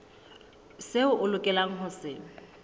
seo o lokelang ho se